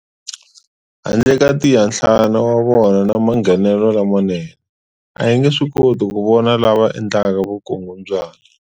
Handle ka tiyanhlana wa vona na manghenelelo lamanene, a hi nge swikoti ku vona lava endlaka vukungundwana.